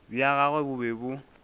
bja gagwe bo be bo